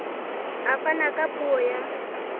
a fana ka puo ya